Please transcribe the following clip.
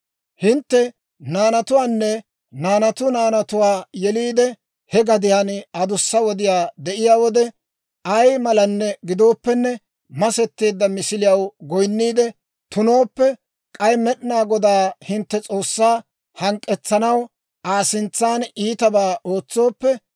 «Hintte naanatuwaanne, naanatu naanatuwaa yeliide he gadiyaan adussa wodiyaa de'iyaa wode, ay malan gidooppenne masetteedda misiliyaw goyinniide tunooppe, k'ay Med'inaa Godaa hintte S'oossaa hank'k'etsanaw Aa sintsan iitabaa ootsooppe,